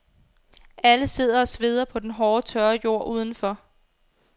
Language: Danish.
Alle sidder og sveder på den hårde tørre jord udenfor.